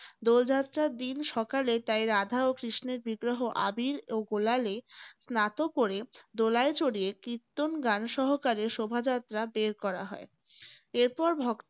দোল যাত্রার দিন সকালে তাই রাধা ও কৃষ্ণের বিগ্রহ আবীর ও গুলালে স্নাত করে দোলায় চড়িয়ে কীর্তন গান সহকারে শোভাযাত্রা বের করা হয়। এর পর